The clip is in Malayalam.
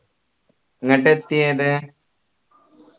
ഇങ്ങട്ട് എത്തിയത്